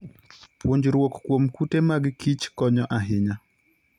Puonjruok kuom kute mag kich konyo ahinya.